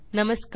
नमस्कार